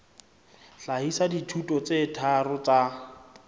hlahisa dithuto tse tharo tsa